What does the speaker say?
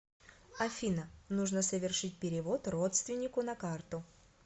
афина нужно совершить перевод родственнику на карту